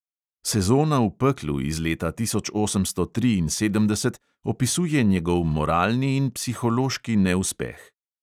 Sezona v peklu iz leta tisoč osemsto triinsedemdeset opisuje njegov moralni in psihološki neuspeh.